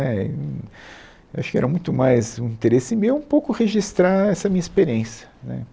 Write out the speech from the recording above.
É, e eu acho que era muito mais um interesse meu um pouco registrar essa minha experiência né.